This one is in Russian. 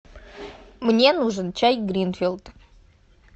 мне нужен чай гринфилд